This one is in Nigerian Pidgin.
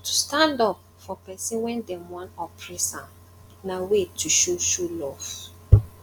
to stand up for persin wey dem won oppress am na way to show show love